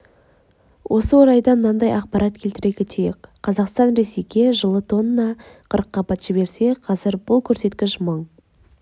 осы орайда мынадай ақпарат келтіре кетейік қазақстан ресейге жылы тонна қырыққабат жіберсе қазір бұл көрсеткіш мың